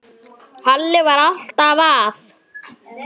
Halli var alltaf að.